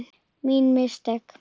Mín mistök.